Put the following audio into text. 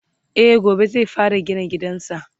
e gobe zai fara gina gidansa